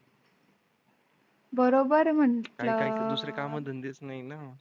बरोबर म्हटलं . दुसरे काम धंदे च नाही ना?